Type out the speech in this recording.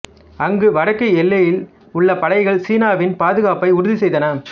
அங்கு வடக்கு எல்லையில் உள்ள படைகள் சீனாவின் பாதுகாப்பை உறுதி செய்தன